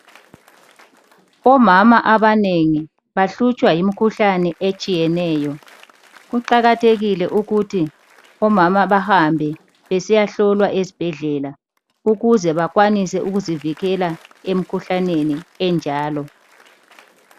Omama abanengi bahlutshwa yimkhuhlane etshiyeneyo kuqakathekile ukuthi omama bahambe besiyahlolwa ezibhedlela ukuze bakwanise ukuzivikela emkhuhlaneni enjalo.